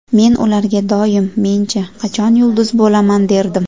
Men ularga doim, men-chi, qachon yulduz bo‘laman, derdim.